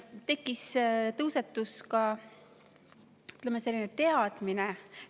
Tekkis ka, ütleme, selline teadmine.